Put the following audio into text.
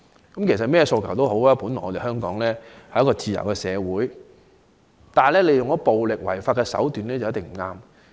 無論他們有甚麼訴求，在香港這個自由社會，使用任何暴力違法的手段便一定有錯。